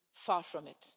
Far from it.